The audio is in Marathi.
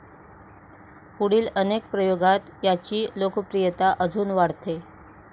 पुढील अनेक प्रयोगात याची लोकप्रियता अजुन वाढते.